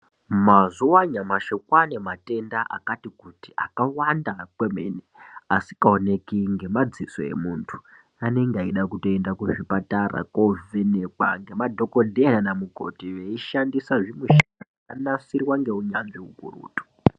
Mazuva anyamashi kwane matenda akati kuti akawanda kwemene asinga oneki ngema zita emuntu anenge eyida kuenda uku zvipatara kovhenekwa ngema dhokoteya na mukoti vei shandisa zvi mishini zvaka nasirwa ngeu nyanzvi ukurutu.